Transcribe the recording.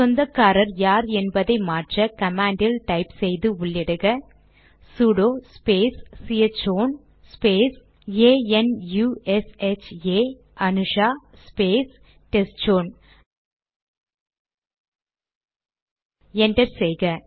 சொந்தக்காரர் யார் என்பதை மாற்ற கமாண்டில் டைப் செய்து உள்ளிடுக sudo space C H own space A N U S H A Anusha space testchown அதாவது T E S T C H O W N enter செய்க